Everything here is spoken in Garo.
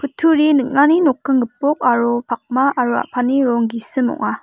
kutturi ning·ani nokking gipok aro pakma aro a·pani rong gisim ong·a.